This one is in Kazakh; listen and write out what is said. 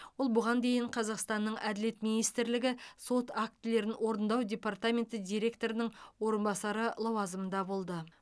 ол бұған дейін қазақстанның әділет министрлігі сот актілерін орындау департаменті директорының орынбасары лауазымында болды